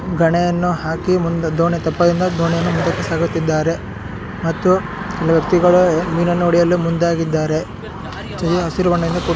ಗಣೇಯನ್ನು ಹಾಕಿ ಮುಂದೆ ದೋಣಿ ತೆಪ್ಪದಿಂದ ದೋಣಿಯನ್ನು ಮುಂದಕ್ಕೆ ಸಾಗುತ್ತಿದ್ದಾರೆ ಮತ್ತು ಕೆಲ ವ್ಯಕ್ತಿಗಳು ಮೀನನ್ನು ಹೊಡೆಯಲು ಮುಂದಾಗಿದ್ದಾರೆ. ತಿಳಿ ಹಸಿರು ಬಣ್ಣದಿಂದ--